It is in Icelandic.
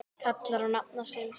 kallar á nafna sinn